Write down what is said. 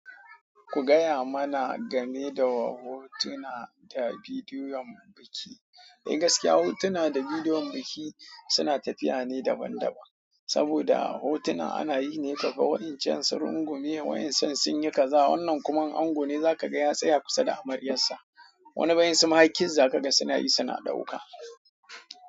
Ku gaya mana game da hotuna da bidiyoyin biki. Eh gaskiya hotuna da bidiyon biki suna tafiya ne daban daban. Saboda hotuna ana yi ne kafa wa'incan su rungume, wa'incian sun yi kaza, wannan kuma in ango ne za ka ga ya tsaya kusa da amaryarsa. Wani bayan suma har kiss za ka ga suna yi suna ɗauka.